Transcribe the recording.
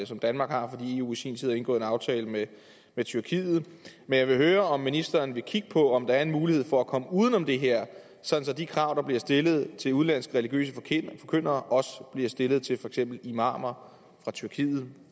som danmark har fordi eu i sin tid har indgået en aftale med tyrkiet jeg vil høre om ministeren vil kigge på om der er mulighed for at komme uden om det her sådan at de krav der bliver stillet til udenlandske religiøse forkyndere også bliver stillet til for eksempel imamer fra tyrkiet